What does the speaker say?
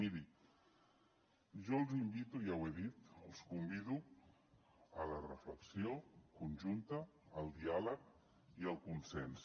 miri jo els invito ja ho he dit els convido a la reflexió conjunta al diàleg i al consens